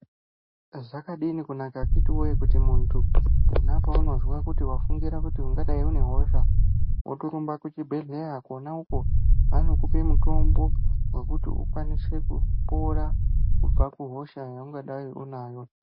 Zvakadini kunaka akitiwee kuti muntu pona paunozwa kuti wafungira kuti ungadai une hosha wotorumba kuchibhedhlera kona uko vanokupe mutombo wekuti ukwanise kupora kubva kuhosha yaungadai unayo.